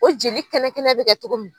O jeli kɛnɛ kɛnɛ bɛ kɛ cogo min.